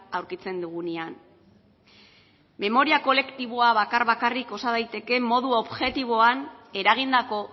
aurkitzen dugunean memoria kolektiboa bakar bakarrik osa daiteke modu objektiboan eragindako